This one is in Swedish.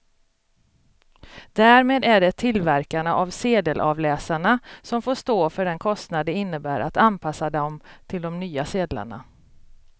Därmed är det tillverkarna av sedelavläsarna som får stå för den kostnad det innebär att anpassa dem till de nya sedlarna.